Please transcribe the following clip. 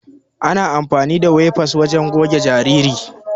Ana amafani da wefas wajen goge jarirai.